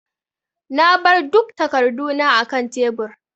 Na bar duk takarduna akan tebur.